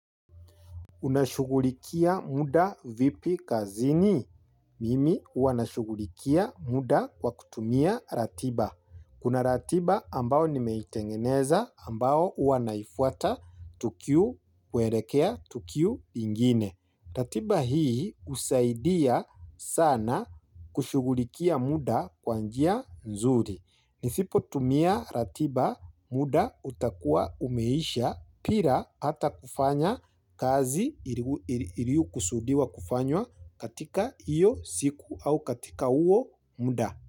Unashughulikia muda vipi kazini? Mimi huwa nashugulikia muda kwa kutumia ratiba. Kuna ratiba ambao nimeitengeneza ambao huwanaifuata tukio kuelekea tukio lingine. Ratiba hii husaidia sana kushughulikia muda kwa njia nzuri. Nisipotumia ratiba muda utakuwa umeisha bila hata kufanya kazi iliyokusudiwa kufanywa katika hiyo siku au katika huo muda.